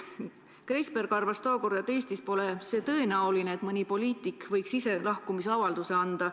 Kreizberg arvas, et Eestis pole tõenäoline, et mõni poliitik võiks ise lahkumisavalduse anda.